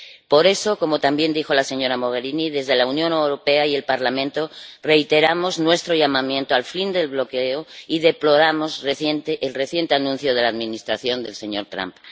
Por eso, como también dijo la señora Mogherini, desde la Unión Europea y el Parlamento reiteramos nuestro llamamiento al fin del bloqueo y deploramos el reciente anuncio de la Administración del señor Trump.